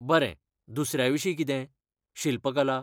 बरें, दुसऱ्याविशीं कितें, शिल्पकला?